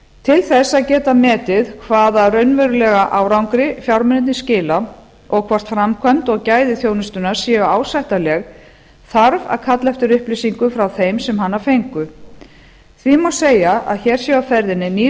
til þess að geta metið hvaða raunverulega árangri fjármunirnir skila og hvort framkvæmd og gæði þjónustunnar séu ásættanleg þarf að kalla eftir upplýsingum frá þeim sem hana fengu því má segja að hér sé á ferðinni nýr